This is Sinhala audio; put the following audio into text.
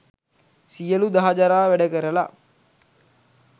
සියලු දහ ජරා වැඩ කරල